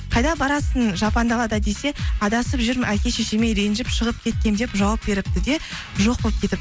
қайда барасың жапан далада десе адасып жүрмін әке шешеме ренжіп шығып кеткенмін деп жауап беріпті де жоқ болып кетіпті